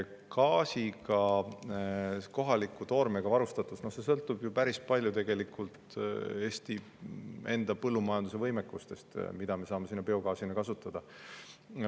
Gaasi kohaliku toormega varustatus sõltub päris palju tegelikult Eesti põllumajanduse võimekustest, sellest, mida me saame biogaasina kasutada.